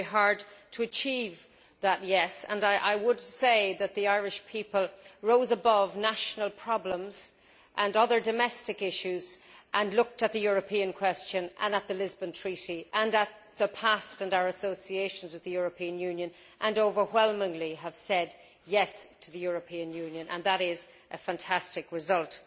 I worked very hard to achieve that yes' and I would say that the Irish people rose above national problems and other domestic issues and looked at the European question and the Lisbon Treaty and at the past and our associations with the European Union and overwhelmingly said yes' to the European Union, and that is a fantastic result.